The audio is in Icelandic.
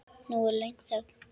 Nú er löng þögn.